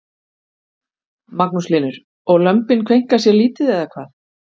Magnús Hlynur: Og lömbin kveinka sér lítið eða hvað?